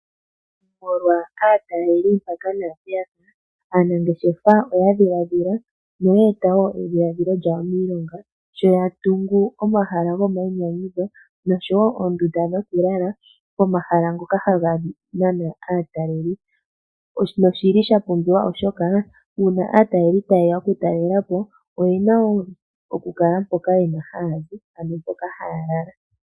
Molwa aataleli mpaka naa mpeya ka, aanangeshefa oya dhiladhila noya eta edhiladhilo lyawo miilonga, sho ya tungu omahala gomainyanyudho osho wo oondunda dhokulala pomahala ngoka haga nana aataleli. Oshili sha pumbiwa oshoka uuna aateleli tayeya oyena mpoka haa lala.